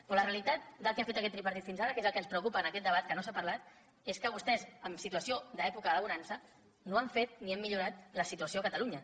però la realitat del que ha fet aquest tripartit fins ara que és el que ens preocupa en aquest debat que no s’ha parlat és que vostès en situació d’època de bonança no han fet ni han millorat la situació a catalunya